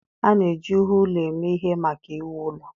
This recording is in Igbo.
A na-eji ihe ụlọ eme ihe maka iwu ụlọ